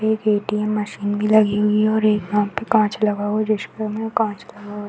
एक ATM machine भी लगी हुई है और एक यहाँ पे कांच लगा हुआ और में कांच लगा हुआ है।